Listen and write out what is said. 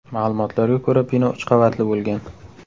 Ma’lumotlarga ko‘ra , bino uch qavatli bo‘lgan.